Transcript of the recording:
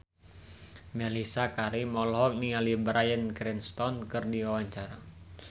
Mellisa Karim olohok ningali Bryan Cranston keur diwawancara